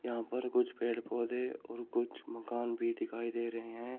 यहां पर कुछ पेड़ पौधे और कुछ मकान भी दिखाई दे रही हैं।